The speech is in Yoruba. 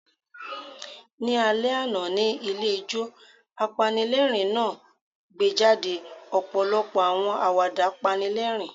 Ni alẹ ana, ni ilé ijo, apanilẹrin naa gbejade ọpọlọpọ awọn awada panilerin